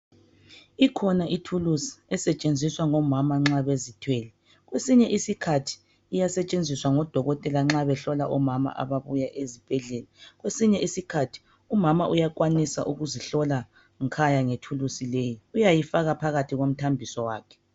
Ikhona ithulusi esetshenziswa ngomama nxa bezithwele kwesinye isikhathi iyasetshenziswa ngo dokotela nxa behlola omama ababuya ezibhedlela. Kwesinye isikhathi umama uyakwanisa ukuzihlola nkhaya ngethulusi leyi uyayifaka phakathi komthambiso wakhe.